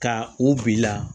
Ka u bila